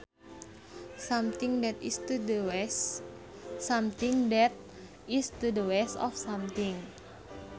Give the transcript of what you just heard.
Something that is to the west of something